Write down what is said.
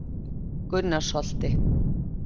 Gunnarsholti